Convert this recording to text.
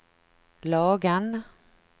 Lagan